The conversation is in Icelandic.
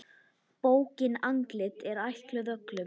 Bókin Andlit er ætluð öllum.